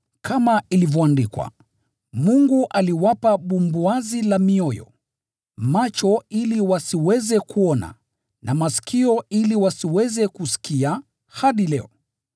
kama ilivyoandikwa: “Mungu aliwapa bumbuazi la mioyo, macho ili wasiweze kuona, na masikio ili wasiweze kusikia, hadi leo.”